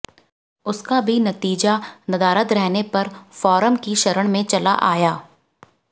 उसका भी नतीजा नदारद रहने पर फोरम की शरण में चला आया